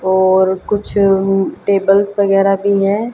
और कुछ टेबल्स वगैरा भी हैं।